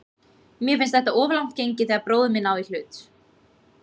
Mér finnst þetta of langt gengið þegar bróðir minn á í hlut.